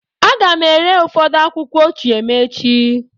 Aga m ere ụfọdụ akwụkwọ ochie m echi.